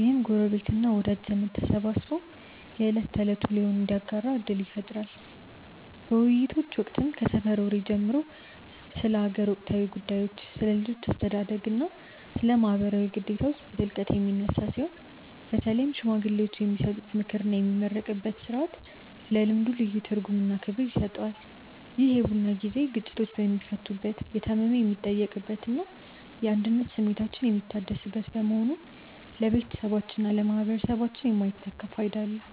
ይህም ጎረቤትና ወዳጅ ዘመድ ተሰባስቦ የዕለት ተዕለት ውሎውን እንዲያጋራ ዕድል ይፈጥራል። በውይይቶች ወቅትም ከሰፈር ወሬ ጀምሮ ስለ አገር ወቅታዊ ጉዳዮች፣ ስለ ልጆች አስተዳደግና ስለ ማኅበራዊ ግዴታዎች በጥልቀት የሚነሳ ሲሆን፣ በተለይም ሽማግሌዎች የሚሰጡት ምክርና የሚመረቅበት ሥርዓት ለልምዱ ልዩ ትርጉምና ክብር ይሰጠዋል። ይህ የቡና ጊዜ ግጭቶች የሚፈቱበት፣ የታመመ የሚጠየቅበትና የአንድነት ስሜታችን የሚታደስበት በመሆኑ ለቤተሰባችንና ለማኅበረሰባችን የማይተካ ፋይዳ አለው።